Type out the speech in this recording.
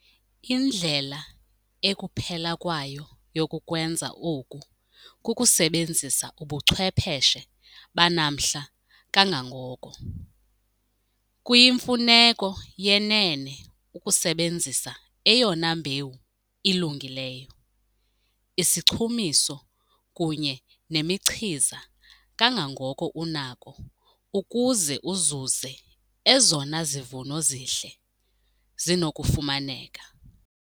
Indlela ekuphela kwayo yokukwenza oku kukusebenzisa ubuchwepheshe banamhla kangangoko. Kuyimfuneko yenene ukusebenzisa eyona mbewu ilungileyo, isichumiso kunye nemichiza kangangoko unako ukuze uzuze ezona zivuno zihle zinokufumaneka.